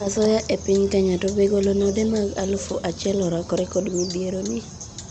Asoya epiny Kenya:To be golo node mag alufu achiel orakore kod midhiero ni?